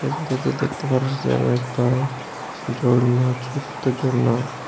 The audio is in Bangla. দেখতে পারস যে আরো একটা ঝর্ণা ছোত্ত ঝর্না।